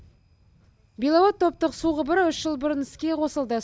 беловод топтық су құбыры үш жыл бұрын іске қосылды